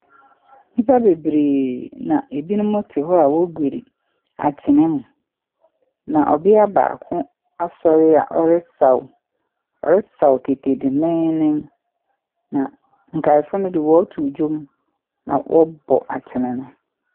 Nnipa bebree na ɛbinom te hɔ a wɔregor akyene mu. Na ɔbea baako asɔre a ɔresaw. Ɔresaw kete dendennden. Na nkaafo no de wɔretow nnwom na wɔrebɔ akyene no.